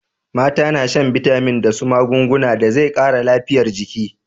Mata na shan bitamin da su magunguna da zai kara lafiyar jiki